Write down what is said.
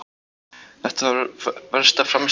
Þetta var versta frammistaða ferilsins.